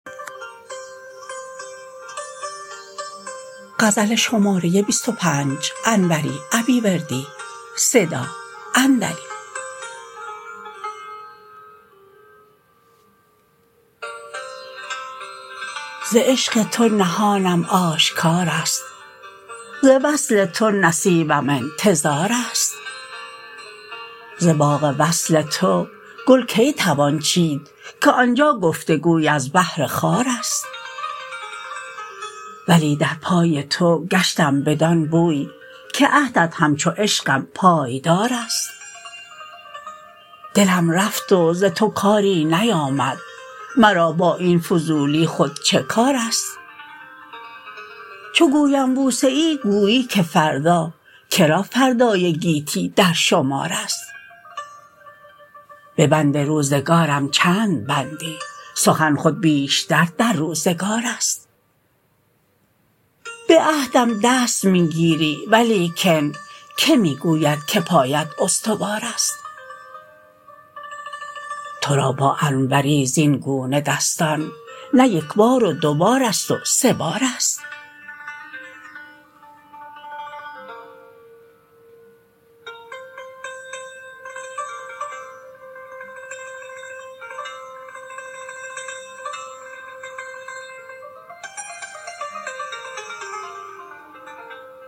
ز عشق تو نهانم آشکارست ز وصل تو نصیبم انتظارست ز باغ وصل تو گل کی توان چید که آنجا گفتگوی از بهر خارست ولی در پای تو گشتم بدان بوی که عهدت همچو عشقم پایدارست دلم رفت و ز تو کاری نیامد مرا با این فضولی خود چه کارست چو گویم بوسه ای گویی که فردا کرا فردای گیتی در شمارست به بند روزگارم چند بندی سخن خود بیشتر در روزگارست به عهدم دست می گیری ولیکن که می گوید که پایت استوارست ترا با انوری زین گونه دستان نه یکبار و دوبارست و سه بارست